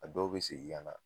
A dɔw be segin ka na